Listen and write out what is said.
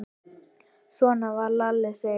Svona var Lalli Sig.